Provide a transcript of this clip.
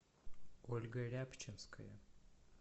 ольга рябчинская